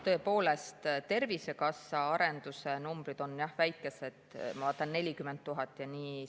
Tõepoolest, Tervisekassa IT-arenduse numbrid on, jah, väikesed, ma vaatan, et 40 000 ja nii.